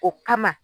O kama